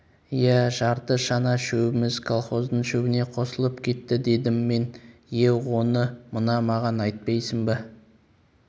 иә жарты шана шөбіміз колхоздың шөбіне қосылып кетті дедім мен е оны мына маған айтпайсың ба